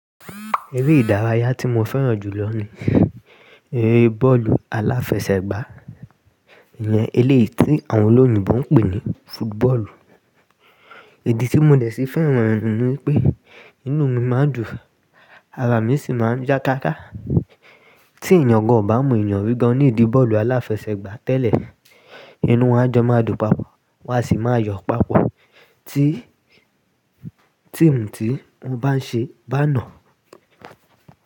Eré ìdárayá tí mo fẹ́ràn jù lọ ní eré bọ́ọ̀lù aláfẹsẹ̀gbá, ìyẹn eléyìí tí àwọn olóyìnbo ń pè ní football. Idì tí mo dẹ̀ sí fẹ́ràn rẹ̀ ni pé, inú mi máa ń dùn, ara mi sì máa ń já ká ká. Tí ènìyàn kan ò bá mọ ènìyàn gígan ní ìdí bọ́ọ̀lù aláfẹsẹ̀gbá tẹ́lẹ̀, inú wọn á jọ máa dùn papọ̀, wọ́n á sì máa yọ̀ papọ̀ tí tíìmù tí wọ́n bá ń ṣe bá nà.